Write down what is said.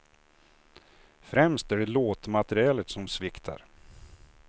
Främst är det låtmaterialet som sviktar.